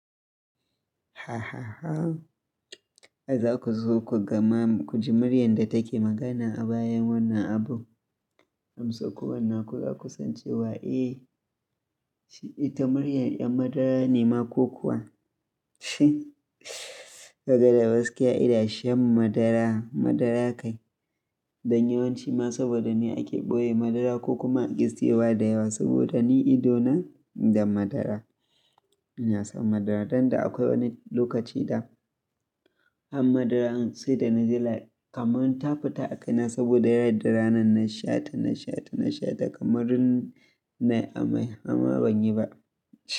Hahaha! Za ku zo ku gama, ku ji muryar da take magana a bayan wannan abu. Hamsan ku wannan ku za ku san cewa eh ita muryar 'yan madara ne ma ko kuwa daga daskiya idan shan madara, madara kai. Dan yawanci ma saboda ni ake ɓoye madara ko kuma a ƙi siyowa da yawa saboda ni ido na da madara. Ina son madara, danda akwai wani lokaci da an madara in sai da na ji la kamar ta fita a kai na saboda yarda ranan na sha ta, na sha ta, na sha ta kamar in nayi amai ama ban yi ba.